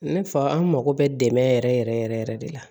Ne fa an mako bɛ dɛmɛ yɛrɛ yɛrɛ yɛrɛ yɛrɛ yɛrɛ de la